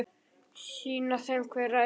Sýna þeim hver ræður.